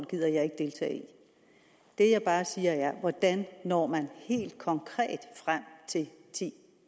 gider jeg ikke deltage i det jeg bare siger er hvordan når man helt konkret frem til ti